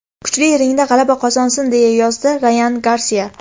Kuchli ringda g‘alaba qozonsin”, deya yozdi Rayan Garsiya.